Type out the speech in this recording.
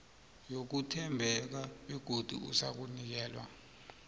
yokuthembeka begodu uzakunikelwa